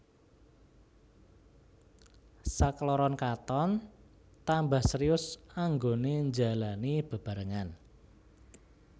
Sakloron katon tambah serius anggoné njalani bebarengan